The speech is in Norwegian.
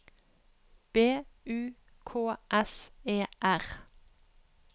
B U K S E R